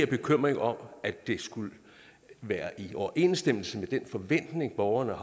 bekymring om at det skulle være i overensstemmelse med den forventning borgerne